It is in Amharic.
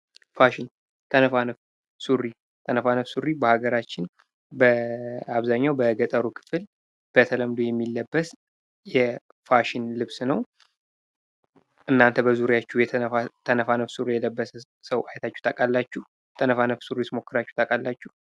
ፋሽን ተነፋነፍ ሱሪ በሃገራችን በአብዛኛው በገጠሩ ክፍል በተለምዶ የሚለበስ የፋሽን ልብስ ነው እናንተ በዙሪያችሁ ተነፋነፍ ሱሪ የለበሰ ሰው አይታችሁ ታውቃላችሁ? ተነፋነፍ ሱሪስ ሞክራችሁ ታውቃላችሁ?